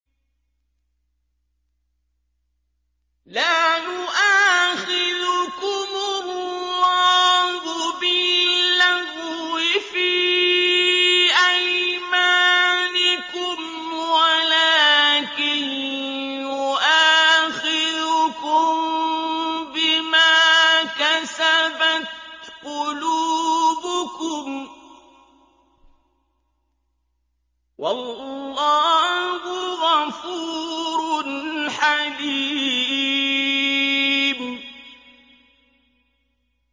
لَّا يُؤَاخِذُكُمُ اللَّهُ بِاللَّغْوِ فِي أَيْمَانِكُمْ وَلَٰكِن يُؤَاخِذُكُم بِمَا كَسَبَتْ قُلُوبُكُمْ ۗ وَاللَّهُ غَفُورٌ حَلِيمٌ